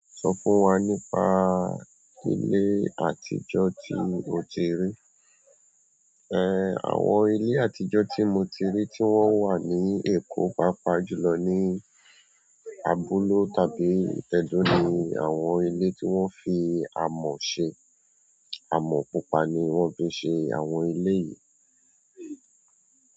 Sọ fún wa nípa ilé àtijọ́ tí o ti rí. Ẹ, àwọn ilé àtijọ́ tí mo tí rí tí wọn wà ní eko pàápàá julọ ní abúlé tàbí ẹdo ni àwọn ilé tí wọ́n fi amọ ṣe. Amọ̀ pupa ni wọ́n fi ṣe àwọn ilé yìí.